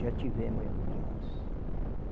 Já tivemos reuniões.